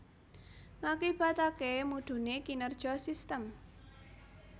Ngakibataké mudhuné kinerja sistem